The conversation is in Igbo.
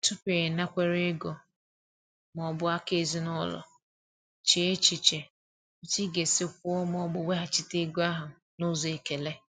Tupu ịnakwere ego ma ọ bụ aka ezinụlọ, chee echiche otu ị ga-esi kwụọ ma ọ bụ weghachite ego ahụ n’ụzọ ekele.